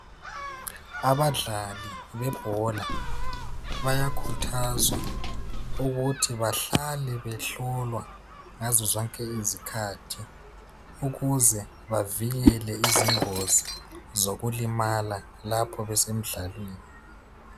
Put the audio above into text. Abadlali bebhola bayakhuthazwa ukuthi bahlale behlolwa ngazo zonke izikhathi ukuze bavikele izingozi zokulimala lapho besemdlalweni.